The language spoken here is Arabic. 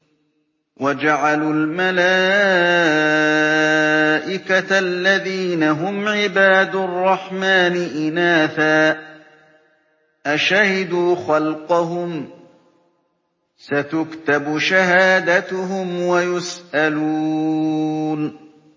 وَجَعَلُوا الْمَلَائِكَةَ الَّذِينَ هُمْ عِبَادُ الرَّحْمَٰنِ إِنَاثًا ۚ أَشَهِدُوا خَلْقَهُمْ ۚ سَتُكْتَبُ شَهَادَتُهُمْ وَيُسْأَلُونَ